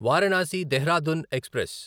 Varanasi Dehradun express